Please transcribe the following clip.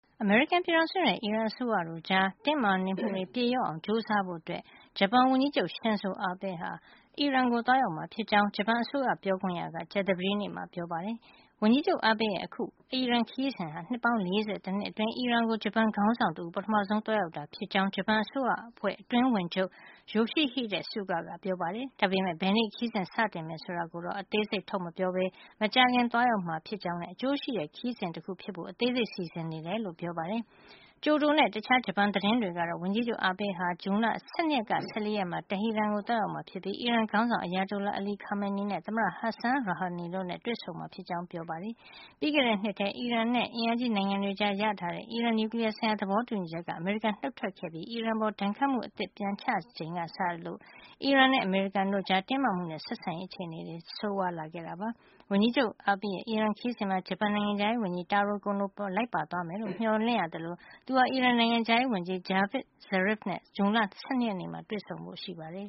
အမေရိကန်ပြည်ထောင်စုနဲ့ အီရန်အစိုးရတို့ကြား တင်းမာနေမှုတွေ ပြေလျော့အောင် ကြိုးစားဖို့ ဂျပန်ဝန်ကြီးချုပ် Shinzo Abe ဟာ အီရန်ကို သွားရောက်မှာ ဖြစ်ကြောင်း ဂျပန်အစိုးရပြေခွင့်ရ က ကြာသပတေးနေ့မှာ ပြောပါတယ်။ ဝန်ကြီးချုပ် Abe ရဲ့ အခု အီရန်ခရီးစဉ်ဟာ နှစ်ပေါင်း ၄၁ နှစ်အတွင်း အီရန်ကို ဂျပန်ခေါင်းဆောင်တဦး ပထမဆုံး သွားရောက်တာဖြစ်ကြောင်း ဂျပန်အစိုးရအဖွဲ့ အတွင်းဝန်ချုပ် Yoshihide Suga ကပြောပါတယ်။ ဒါပေမယ့် ဘယ်နေ့ ခရီးစဉ်စတင်မယ် ဆိုတဲ့အသေးစိတ်ကို ထုတ်မပြောပဲ မကြာခင် သွားရောက်မှာ ဖြစ်ကြောင်းနဲ့ အကျိုးရှိတဲ့ ခရီးစဉ်တခု ဖြစ်စေဖို့ အသေးစိတ်စီစဉ်နေကြောင်းပြောပါတယ်။ ကျိုဒိုနဲ့ တခြားဂျပန်သတင်းတွေကတော့ ဝန်ကြီးချုပ် Abe ဟာ ဇွန်လ ၁၂ ကနေ ၁၄ ရက်မှာ တဟီရန်ကို သွားရောက်မှာ ဖြစ်ပြီး အီရန်ခေါင်းဆောင် Ayatollah Ali Khamenei နဲ့ သမ္မတ Hassan Rouhani တို့နဲ့ တွေ့ဆုံမှာ ဖြစ်ကြောင်း ဖေါ်ပြကြပါတယ်။ ပြီးခဲ့တဲ့နှစ်မှာ အီရန်နဲ့ အင်အားကြီးနိုင်ငံတွေကြား ရရှိထားတဲ့ အီရန်နျူကလီယားဆိုင်ရာ သဘောတူညီချက်ကနေ အမေရိကန် နုတ်ထွက်ခဲ့ပြီး အီရန်အပေါ် ဒဏ်ခတ်မှု အသစ်တွေ ပြန်ချခဲ့ချိန်ကစလို့ အမေရိကန်နဲ့ အီရန်တို့ကြား တင်းမာမှုတွေနဲ့ ဆက်ဆံရေးအခြေနေ ပိုဆိုးလာခဲ့တာပါ။ ဝန်ကြီးချုပ် Abe ရဲ့ အီရန်ခရီးစဉ်မှာ ဂျပန်နိုင်ငံခြားရေးဝန်ကြီး Taro Kono ပါ လိုက်ပါသွားမယ်လို့ မျှော်လင့်ရသလို သူဟာ အီရန်နိုင်ငံခြားရေး ဝန်ကြီး Javad Zarif နဲ့ ဇွန်လ ၁၂ ရက်နေ့မှာ တွေ့ဆုံဖို့ရှိပါတယ်